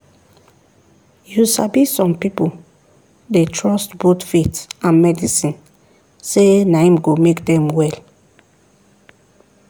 "you sabi some people dey trust both faith and medicine sey na em go make them well